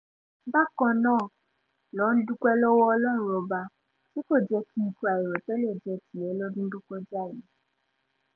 bákan náà ló ń dúpẹ́ lọ́wọ́ ọlọ́run ọba tí kò jẹ́ kí ikú àìròtẹ́lẹ̀ jẹ́ tiẹ̀ lọ́dún tó kọjá yìí